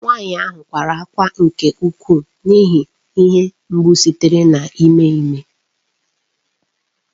Nwanyị a kwara ákwá nke ukwuu n’ihi ihe mgbu sitere n’ime ime.